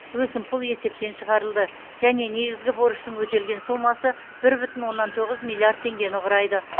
өсімпұл есептен шығарылды және негізгі борыштың өтелген сомасы бір бүтін оннан тоғыз миллиард теңгені құрайды